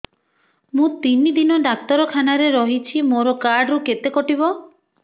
ମୁଁ ତିନି ଦିନ ଡାକ୍ତର ଖାନାରେ ରହିଛି ମୋର କାର୍ଡ ରୁ କେତେ କଟିବ